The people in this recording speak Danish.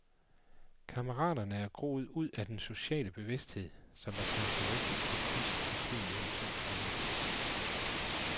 Kammeraterne er groet ud af den sociale bevidsthed, som var karakteristisk for kunsten i tiden mellem to krige.